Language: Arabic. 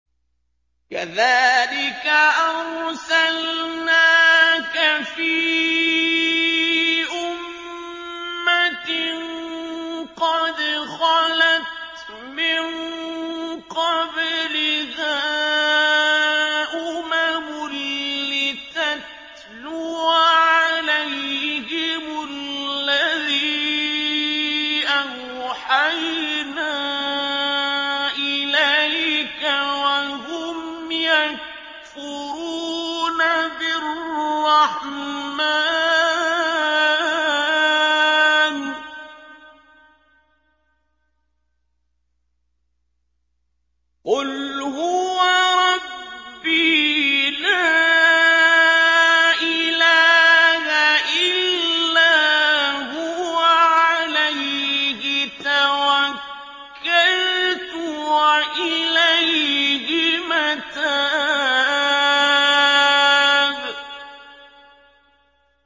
كَذَٰلِكَ أَرْسَلْنَاكَ فِي أُمَّةٍ قَدْ خَلَتْ مِن قَبْلِهَا أُمَمٌ لِّتَتْلُوَ عَلَيْهِمُ الَّذِي أَوْحَيْنَا إِلَيْكَ وَهُمْ يَكْفُرُونَ بِالرَّحْمَٰنِ ۚ قُلْ هُوَ رَبِّي لَا إِلَٰهَ إِلَّا هُوَ عَلَيْهِ تَوَكَّلْتُ وَإِلَيْهِ مَتَابِ